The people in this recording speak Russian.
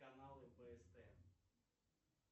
каналы пст